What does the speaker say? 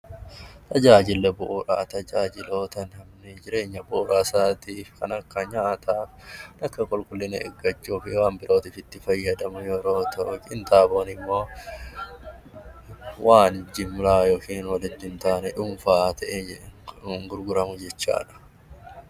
Tajaajilli bu'uuraa tajaajiloota bu'uuraa kan akka nyaataa, qulqullina eeggachuu fi waan biroof itti fayyadamu yoo ta'u, gurgurtaa qinxaaboon immoo waan jimlaa hin taane dhuunfaan gurguramu jechuudha.